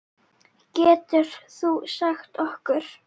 Geturðu sagt okkur?